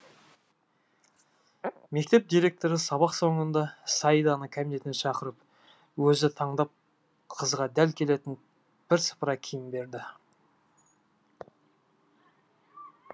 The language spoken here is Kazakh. мектеп директоры сабақ соңында саиданы кабинетіне шақырып өзі таңдап қызға дәл келетін бірсыпыра киім берді